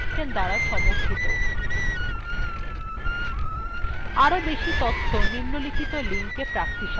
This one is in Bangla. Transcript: আরও বেশি তথ্য নিম্নলিখিত linkএ প্রাপ্তিসাধ্য